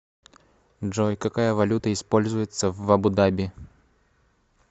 джой какая валюта используется в абу даби